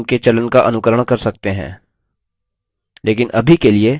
हम अपने खुद के नाम के चलन का अनुकरण कर सकते हैं